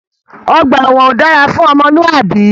Ọgbà ẹwọn ò dára fún ọmọlúàbí.